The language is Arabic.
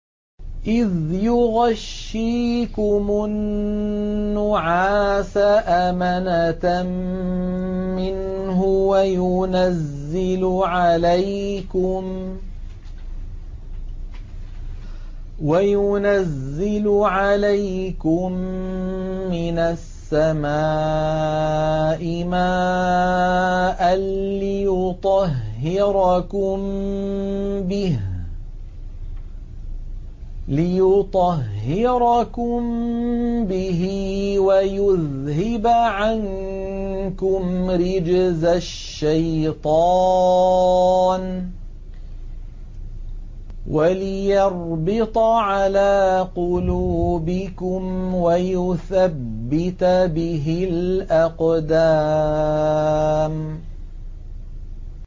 إِذْ يُغَشِّيكُمُ النُّعَاسَ أَمَنَةً مِّنْهُ وَيُنَزِّلُ عَلَيْكُم مِّنَ السَّمَاءِ مَاءً لِّيُطَهِّرَكُم بِهِ وَيُذْهِبَ عَنكُمْ رِجْزَ الشَّيْطَانِ وَلِيَرْبِطَ عَلَىٰ قُلُوبِكُمْ وَيُثَبِّتَ بِهِ الْأَقْدَامَ